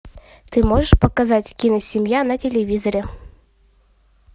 ты можешь показать киносемья на телевизоре